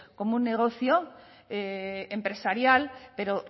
como un negocio empresarial pero